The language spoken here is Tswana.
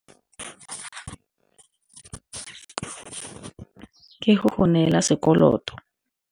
Ke go go neela sekoloto.